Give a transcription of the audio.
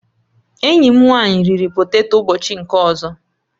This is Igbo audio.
Enyi m nwanyị riri poteto ụbọchị nke ọzọ